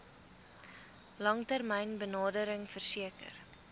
langtermyn benadering verseker